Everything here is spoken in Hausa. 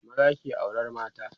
maza ke auran mata